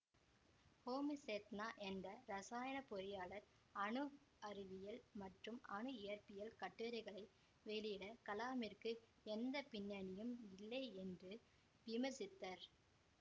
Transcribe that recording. ஹோமி சேத்னா என்ற இரசாயனப்பொறியாளர் அணு அறிவியல் மற்றும் அணு இயற்பியல் கட்டுரைகளை வெளியிட கலாமிற்கு எந்த பின்னணியும் இல்லை என்று விமர்சித்தார்